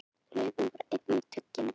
Laufin voru einnig tuggin.